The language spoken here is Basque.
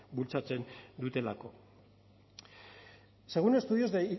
bultzatzen dutelako según estudios de